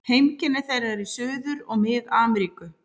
Heimkynni þeirra eru í Suður- og Mið-Ameríku.